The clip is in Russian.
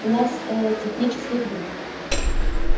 у нас ээ технические проблемы